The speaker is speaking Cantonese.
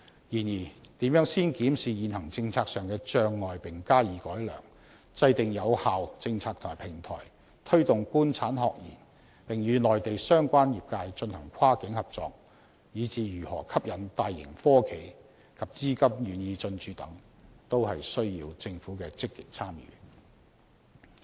然而，如何先檢視現行政策上的障礙並加以改良，制訂有效政策和平台、推動官產學研並與內地相關業界進行跨境合作，以至如何吸引大型科企及資金願意進駐等，均需要政府的積極參與。